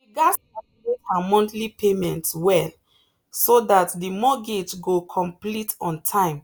she gatz calculate her monthly payments well so that the mortgage go complete on time